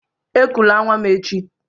Ekụla nwa m echi!